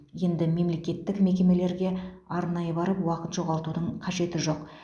енді мемлекеттік мекемелерге арнайы барып уақыт жоғалтудың қажеті жоқ